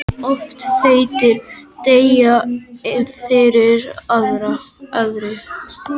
Of feitir deyja fyrr en aðrir